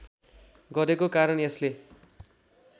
गरेको कारण यसले